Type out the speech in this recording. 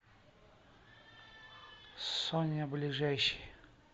соня ближайший